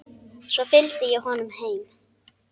Svo fylgdi ég honum heim.